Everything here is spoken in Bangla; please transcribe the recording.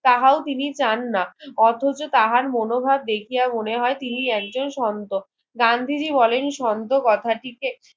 তাহাও তিনি চান না অথচ তাহার মনোভাব দেখিয়া মনে হয় তিনি একজন সন্ত গান্ধীজি বলেন সন্ত কথাটিকে